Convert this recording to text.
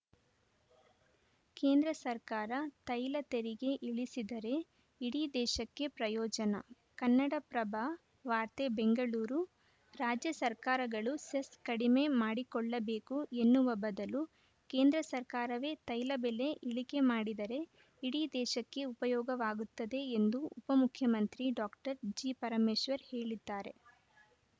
ಕೇಂದ್ರ ಸರ್ಕಾರ ತೈಲ ತೆರಿಗೆ ಇಳಿಸಿದರೆ ಇಡೀ ದೇಶಕ್ಕೆ ಪ್ರಯೋಜನ ಕನ್ನಡಪ್ರಭ ವಾರ್ತೆ ಬೆಂಗಳೂರು ರಾಜ್ಯ ಸರ್ಕಾರಗಳು ಸೆಸ್‌ ಕಡಿಮೆ ಮಾಡಿಕೊಳ್ಳಬೇಕು ಎನ್ನುವ ಬದಲು ಕೇಂದ್ರ ಸರ್ಕಾರವೇ ತೈಲ ಬೆಲೆ ಇಳಿಕೆ ಮಾಡಿದರೆ ಇಡೀ ದೇಶಕ್ಕೆ ಉಪಯೋಗವಾಗುತ್ತದೆ ಎಂದು ಉಪಮುಖ್ಯಮಂತ್ರಿ ಡಾಕ್ಟರ್ ಜಿಪರಮೇಶ್ವರ್‌ ಹೇಳಿದ್ದಾರೆ